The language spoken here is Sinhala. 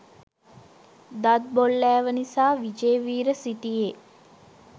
දත් බොල්ලෑව නිසා විජේවීර සිටියේ